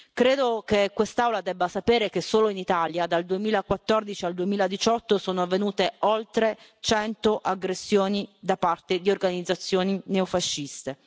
Credo che quest'Aula debba sapere che solo in Italia, dal 2014 al 2018 sono avvenute oltre 100 aggressioni da parte di organizzazioni neofasciste.